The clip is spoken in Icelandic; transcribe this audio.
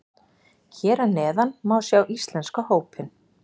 Hér að neðan má sjá íslenska hópinn.